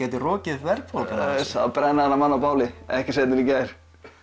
gæti rokið upp verðbólga það á að brenna þennan mann á báli ekki seinna en í gær